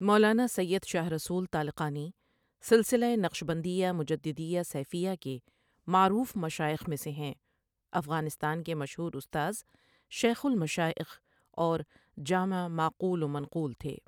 مولانا سید شاہ رسول طالقانی سلسلہ نقشبندیہ مجددیہ سیفیہ کے معروف مشائخ میں سے ہیں افغانستان کے مشہور استاذ ،شیخ المشاٰئخ اورجامع معقول ومنقول تھے